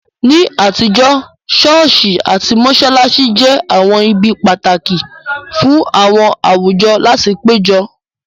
Ní àtijọ́, ṣọ́ọ̀ṣì àti mọ́ṣáláṣí jẹ́ àwọn ibi pàtàkì fún àwọn àwùjọ láti péjọ